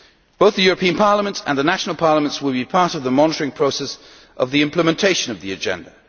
Both the European Parliament and the national parliaments will be part of the monitoring process of the implementation of the agenda.